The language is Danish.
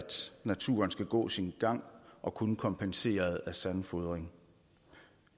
naturen skal gå sin gang og kun kompenseret af sandfodring